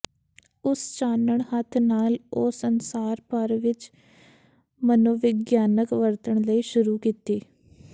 ਉਸ ਚਾਨਣ ਹੱਥ ਨਾਲ ਉਹ ਸੰਸਾਰ ਭਰ ਵਿੱਚ ਮਨੋਵਿਗਿਆਨਕ ਵਰਤਣ ਲਈ ਸ਼ੁਰੂ ਕੀਤਾ